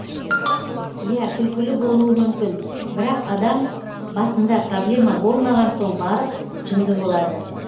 иә күлкілі болуы мүмкін бірақ адам басында проблема болмаған соң барып жынды болады